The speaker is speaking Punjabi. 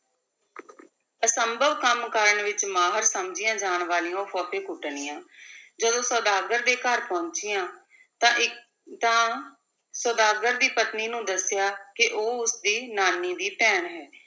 ਅਸੰਭਵ ਕੰਮ ਕਰਨ ਵਿਚ ਮਾਹਰ ਸਮਝੀਆਂ ਜਾਣ ਵਾਲੀਆਂ ਉਹ ਫੱਫੇਕੁੱਟਣੀਆਂ ਜਦੋਂ ਸੁਦਾਗਰ ਦੇ ਘਰ ਪਹੁੰਚੀਆਂ, ਤਾਂ ਇਕ ਤਾਂ ਸੁਦਾਗਰ ਦੀ ਪਤਨੀ ਨੂੰ ਦੱਸਿਆ ਕਿ ਉਹ ਉਸ ਦੀ ਨਾਨੀ ਦੀ ਭੈਣ ਹੈ